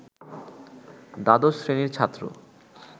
দ্বাদশ শ্রেণির ছাত্র